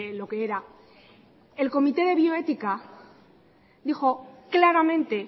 lo que era el comité de bioética dijo claramente